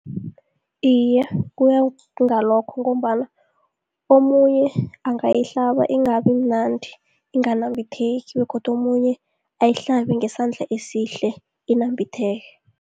Iye, kuya ngalokho ngombana omunye angayihlaba ingabi mnandi, inganambitheki begodu omunye ayihlabe ngesandla esihle inambitheke.